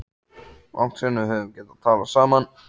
Langt síðan við höfum getað talað saman.